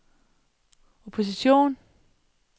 opposition